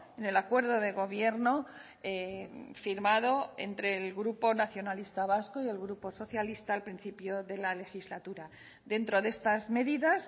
en el acuerdo de gobierno firmado entre el grupo nacionalista vasco y el grupo socialista al principio de la legislatura dentro de estas medidas